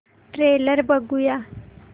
trailer बघूया